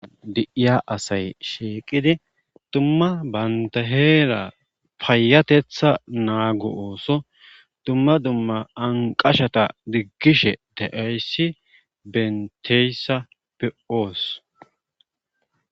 di7iya asay sheeqidi dumma baynta heera paayatetha naago ooso dumma dumma anqashata diggishe daayssi benteyssappe oos